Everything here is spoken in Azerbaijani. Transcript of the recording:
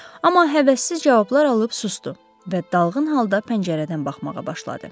Amma həvəssiz cavablar alıb susdu və dalğın halda pəncərədən baxmağa başladı.